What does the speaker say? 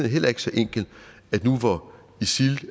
heller ikke så enkel at nu hvor isil